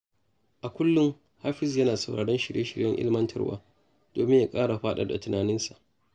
A kullum, Hafizu yana sauraron shirye-shiryen ilimantarwa domin ya ƙara faɗaɗa tunaninsa.